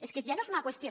és que ja no és una qüestió